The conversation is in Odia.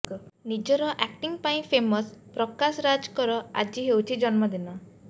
ନିଜର ଆକ୍ଟିଂ ପାଇଁ ଫେମସ ପ୍ରକାଶ ରାଜଙ୍କର ଆଜି ହେଉଛି ଜନ୍ମ ଦିନ